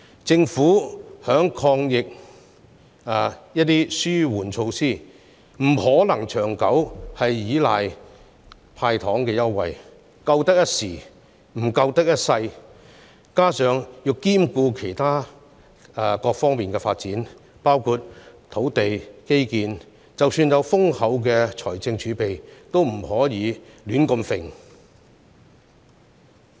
政府在抗疫的紓緩措施上，不可能長久依賴"派糖"的優惠，因為並非長遠之計，況且還須兼顧其他各方面的發展，即使有豐厚的財政儲備，也不可胡亂花費。